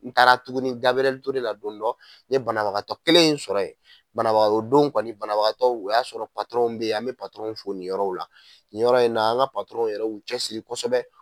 N taara tuguni Gabiriyɛri Ture la dondɔ n ye banabagatɔ kelen in sɔrɔ ye banabaga o don in kɔni banabagatɔw o y'a sɔrɔ bɛ ye an bɛ fo nin yɔrɔw la nin yɔrɔ in na an ka yɛrɛ y'u cɛsiri kosɛbɛ.